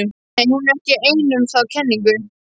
Nei, hún er ekki ein um þá kenningu.